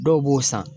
Dɔw b'o san